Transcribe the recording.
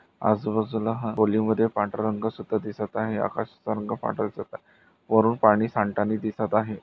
आजूबाजूला हा पूलीमद्धे पांढरा रंग सुद्धा दिसत आहे आकाशाचा रंग पांढरा दिसत आहे वरुन पाणी सांडतानी दिसत आहे.